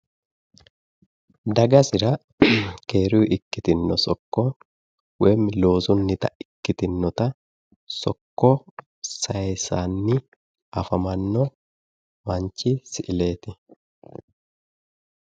dagasira keerunni ikkitino sokko woyi loosunnita ikkitinnota sokko sayiisannii afamanno manchi siileeti.